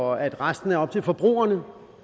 og at resten er op til forbrugerne